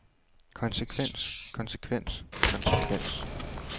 konsekvens konsekvens konsekvens